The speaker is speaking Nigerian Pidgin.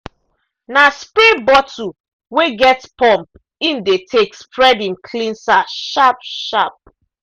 na spray bottle wey get pump im de take spread im cleanser sharp- sharp.